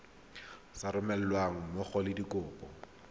sa romelweng mmogo le dikopo